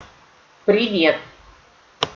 привет